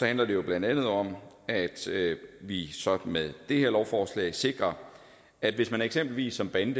handler det jo blandt andet om at vi så med det her lovforslag sikrer at hvis eksempelvis en bande